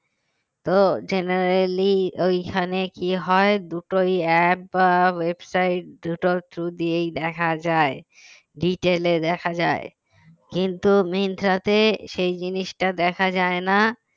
তো generally ওই খানে কি হয় দুটোই app বা website দুটোর through দিয়েই দেখা যায় detail এ দেখা যায় কিন্তু মিন্ত্রাতে সেই জিনিসটা দেখাযায় না